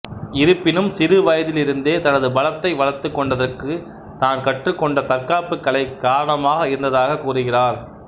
இருப்பினும் சிறு வயதிலிருந்தே தனது பலத்தை வளர்த்துக் கொண்டதற்கு தான் கற்றுக்கொண்ட தற்காப்பு கலை காரனமாக இருந்ததாக கூறுகிறார்